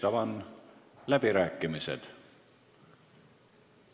Avan läbirääkimised.